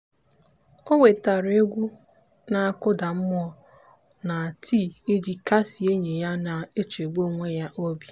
o wetara egwu na-akụda mmụọ na tii iji kasie enyi ya na-echegbu onwe ya obi.